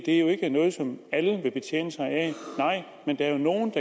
er noget som alle vil betjene sig af men der er nogle